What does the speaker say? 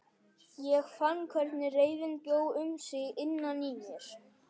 Ég fann hvernig reiðin bjó um sig innan í mér.